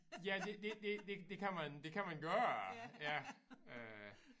Ja det det det det det kan man det kan man gøre ja øh